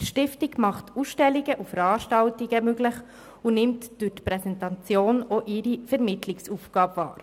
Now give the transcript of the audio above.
die Stiftung macht Ausstellungen und Veranstaltungen möglich und nimmt durch die Präsentation auch ihre Vermittlungsaufgabe wahr.